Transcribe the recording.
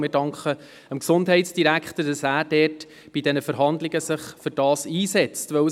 Wir danken dem Gesundheitsdirektor, dass er sich bei den Verhandlungen mit den Krankenkassen dafür einsetzen wird.